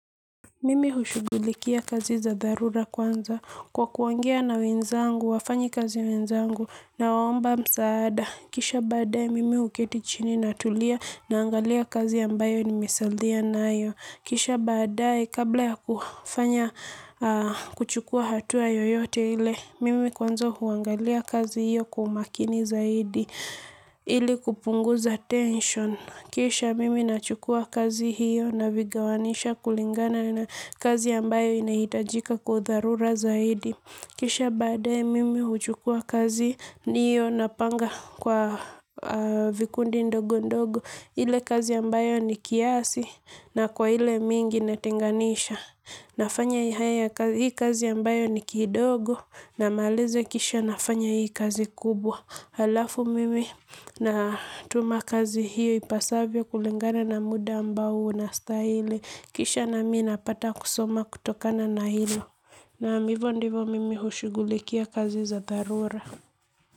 Mimi hushughulikia kazi za dharura kwanza kwa kuongea na wenzangu, wafanyikazi wenzangu nawaomba msaada. Kisha baadae, mimi huketi chini natulia naangalia kazi ambayo nimesalia nayo. Kisha baadae, kabla ya kufanya kuchukua hatua yoyote ile, mimi kwanza huangalia kazi hiyo kwa umakini zaidi ili kupunguza tension. Kisha mimi nachukua kazi hiyo navigawanisha kulingana na kazi ambayo inahitajika kwa dharura zaidi. Kisha baadae mimi huchukua kazi hiyo napanga kwa vikundi ndogo ndogo. Ile kazi ambayo ni kiasi na kwa ile mingi natenganisha. Nafanya hii kazi ambayo ni kidogo na malezi kisha nafanya hii kazi kubwa. Halafu mimi natuma kazi hiyo ipasavyo kulingana na muda ambao nastahili. Kisha nami napata kusoma kutokana na hilo naam hivo ndivo mimi hushughulikia kazi za dharura.